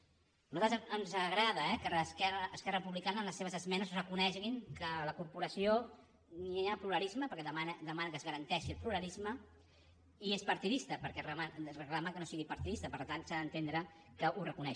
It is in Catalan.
a nosaltres ens agrada eh que esquerra republicana en les seves esmenes reconegui que a la corporació no hi ha pluralisme perquè demana que es garanteixi el pluralisme i és partidista perquè reclama que no sigui partidista per tant s’ha d’entendre que ho reconeix